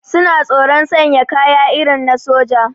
Suna tsoron sanya kaya irin na soja